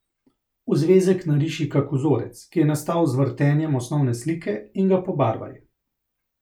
V zvezek nariši kak vzorec, ki je nastal z vrtenjem osnovne slike, in ga pobarvaj.